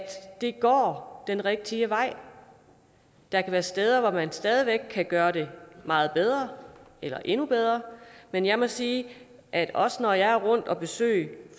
det går den rigtige vej der kan være steder hvor man stadig væk kan gøre det meget bedre eller endnu bedre men jeg må sige at også når jeg er rundt og besøge